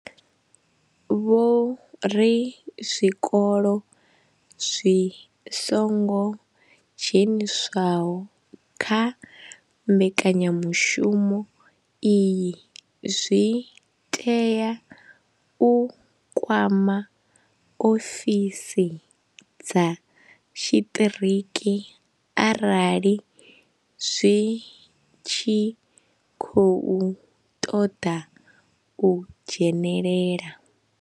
Vho ri zwikolo zwi songo dzheniswaho kha mbekanya mushumo iyi zwi tea u kwama ofisi dza tshiṱiriki arali zwi tshi khou ṱoḓa u dzhenelela.